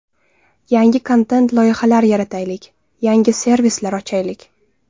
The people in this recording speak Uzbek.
Yangi kontent-loyihalar yarataylik, yangi servislar ochaylik.